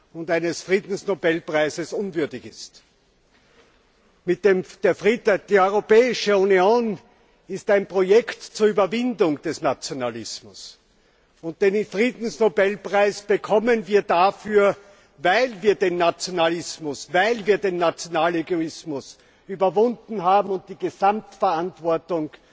und eines Friedensnobelpreises unwürdig ist. Die Europäische Union ist ein Projekt zur Überwindung des Nationalismus, und den Friedensnobelpreis bekommen wir dafür, dass wir den Nationalismus, den nationalen Egoismus überwunden haben und die Gesamtverantwortung